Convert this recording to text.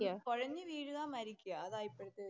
കൊഴഞ്ഞു വീഴുക, മരിക്കുക അതാ ഇപ്പോഴത്തെ